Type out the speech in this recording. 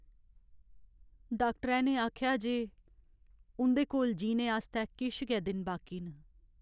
डाक्टरै ने आखेआ जे उं'दे कोल जीने आस्तै किश गै दिन बाकी न।